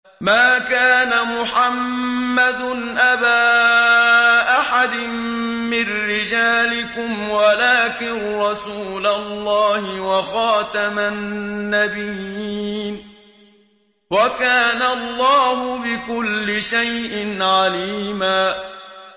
مَّا كَانَ مُحَمَّدٌ أَبَا أَحَدٍ مِّن رِّجَالِكُمْ وَلَٰكِن رَّسُولَ اللَّهِ وَخَاتَمَ النَّبِيِّينَ ۗ وَكَانَ اللَّهُ بِكُلِّ شَيْءٍ عَلِيمًا